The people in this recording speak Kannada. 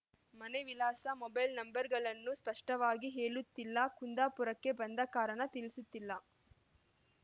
ಮನೆ ವಿಳಾಸ ಮೊಬೈಲ್ ನಂಬರ್‌ಗಳನ್ನು ಸ್ಪಷ್ಟವಾಗಿ ಹೇಳುತ್ತಿಲ್ಲ ಕುಂದಾಪುರಕ್ಕೆ ಬಂದ ಕಾರಣ ತಿಳಿಸುತ್ತಿಲ್ಲ